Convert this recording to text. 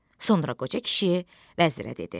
Sonra qoca kişi vəzirə dedi: